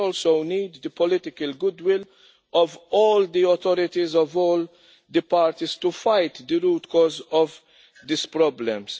We also need the political goodwill of all the authorities, of all the parties, to fight the root cause of these problems.